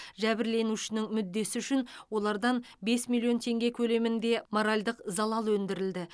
жәбірленушінің мүддесі үшін олардан бес миллион теңге көлемінде моральдық залал өндірілді